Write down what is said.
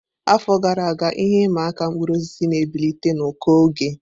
Afọ gara aga, ihe ịma aka mkpụrụ osisi na-ebilite na ụkọ oge.